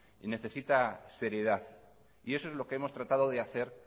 y necesita seriedad y eso es lo que hemos tratado de hacer